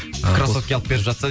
ы крассовки алып беріп жатса